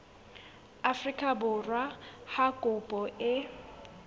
afrika borwa ha kopo e